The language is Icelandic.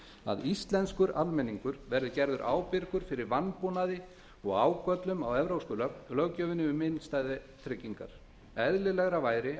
að íslenskur almenningur verði gerður ábyrgur fyrir vanbúnaði og ágöllum á evrópsku löggjöfinni um innstæðutryggingar eðlilegra væri